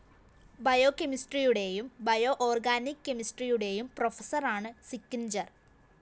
ബയോകെമിസ്ട്രിയുടേയും bio organic കെമിസ്ട്രിയുടേയും പ്രൊഫസറാണ് Sickinger‍